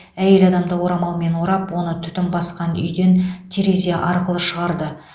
әйел адамды орамалмен орап оны түтін басқан үйден терезе арқылы шығарды